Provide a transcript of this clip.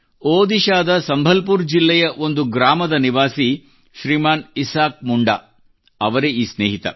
ಒಡಿಶ್ಶಾದ ಸಂಬಲ್ಪುರ್ ಜಿಲ್ಲೆಯ ಒಂದು ಗ್ರಾಮದ ನಿವಾಸಿ ಶ್ರೀಮಾನ್ ಇಸಾಕ್ ಮುಂಡಾ ಅವರೇ ಈ ಸ್ನೇಹಿತ